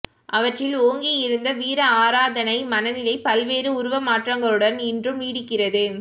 அவற்றில் ஓங்கியிருந்த வீர ஆராதனை மனநிலை பல்வேறு உருவ மாற்றங்களுடன் இன்றும் நீடிக்கிறது